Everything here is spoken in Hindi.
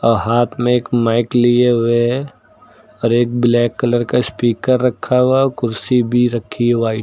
अ हाथ में एक माइक लिए हुए है और एक ब्लैक कलर का स्पीकर रखा हुआ है और कुर्सी भी रखी है वाइट --